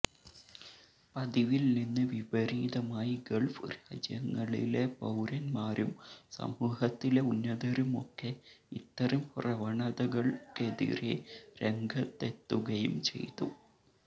പതിവില് നിന്ന് വിപരീതമായി ഗള്ഫ് രാജ്യങ്ങളിലെ പൌരന്മാരും സമൂഹത്തിലെ ഉന്നതരുമൊക്കെ ഇത്തരം പ്രവണതകള്ക്കെതിരെ രംഗത്തെത്തുകയും ചെയ്തു